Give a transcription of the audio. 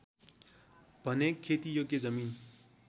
भने खेतीयोग्य जमिन